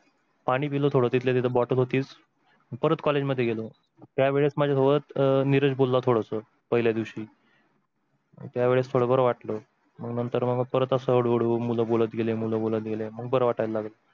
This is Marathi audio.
पानी पिल थोड तिथल्या तिथ तिथे एक bottle होती आणि परत college मध्ये गेलो, त्या वेळी माझ्या डोळ्यात निराश भरल थोडस पहिल्याच दिवशी, त्या वेळेस थोड बर वाटल तर मग हळू हळू मूल बोलत गेले मूल बोलत गेले तर बार वाटल